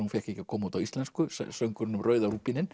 hún fékk ekki að koma út á íslensku söngurinn um rauða